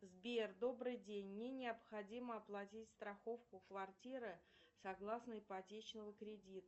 сбер добрый день мне необходимо оплатить страховку квартиры согласно ипотечному кредиту